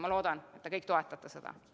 Ma loodan, et te kõik toetate seda.